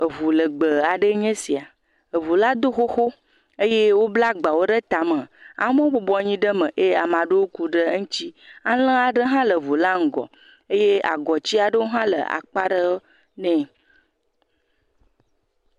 Ŋu legbẽe aɖe enye esia. Ŋu la do xoxo eye wobla agba ɖe etame, amewo bɔbɔ nɔ anyi ɖe me eye ame aɖewo ku ɖe eŋuti. Alẽ aɖe hã le ŋu la ŋgɔ eye agɔti aɖewo hã le akpa aɖe nɛ.